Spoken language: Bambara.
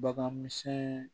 Bagan misɛnni